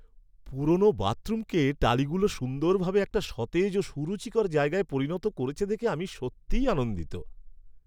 পুরনো বাথরুমকে টালিগুলো সুন্দরভাবে একটা সতেজ ও সুরুচিকর জায়গায় পরিণত করেছে দেখে আমি সত্যিই আনন্দিত।